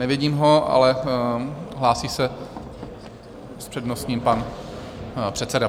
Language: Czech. Nevidím ho, ale hlásí se s přednostním pan předseda.